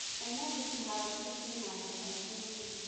Ũmũthĩ kĩhaaro kĩu kĩ na andũ aingĩ mũno.